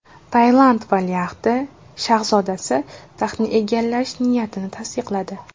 Tailand valiahd shahzodasi taxtni egallash niyatini tasdiqladi.